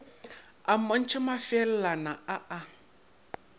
a mmontšha mafeelana a a